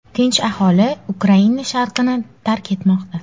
Tinch aholi Ukraina sharqini tark etmoqda.